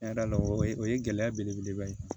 Yada la o ye gɛlɛya belebeleba ye